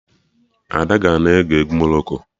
Ada ga-na eke egwu Morocco